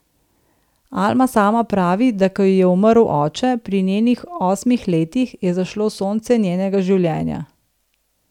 Alma sama pravi, da ko ji je umrl oče, pri njenih osmih letih, je zašlo sonce njenega življenja.